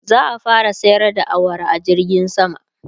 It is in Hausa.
za'a fara sayar da awara a jirgin sama